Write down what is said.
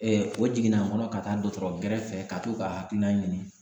o jiginna an kɔnɔ ka taa dɔkɔtɔrɔ gɛrɛfɛ ka to ka hakilina ɲini